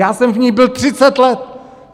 Já jsem v ní byl 30 let!